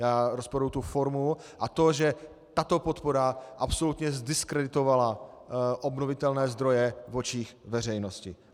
Já rozporuji formu a to, že tato podpora absolutně zdiskreditovala obnovitelné zdroje v očích veřejnosti.